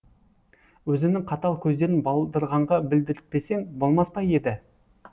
өзінің қатал көздерін балдырғанға білдіртпесең болмас па еді